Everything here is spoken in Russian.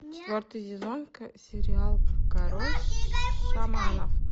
четвертый сезон сериал король шаманов